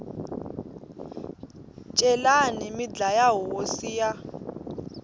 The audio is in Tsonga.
celani mi dlaya hosi ya